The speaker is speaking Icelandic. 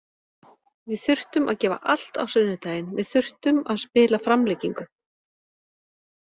Við þurftum að gefa allt á sunnudaginn, við þurftum að spila framlengingu.